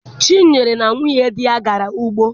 Chinyere na nwunye di ya gara ugbo.